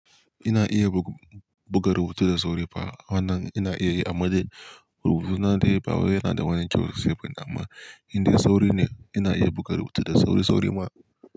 Ina iya buga rubutu da sauri fa. Wannan ina iya yi amma dai rubutu na dai ba wai yana da wani kyau sosai bane, amma in dai sauri ne ina iya buga rubutu da sauri sauri ma.